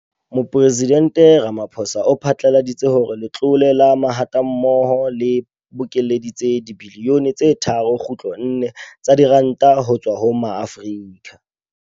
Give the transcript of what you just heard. Mopresidente Ramaphosa o phatlaladitse hore Letlole la Mahatammoho le bokeletse dibilione tse 3.4 tsa diranta ho tswa ho Maafrika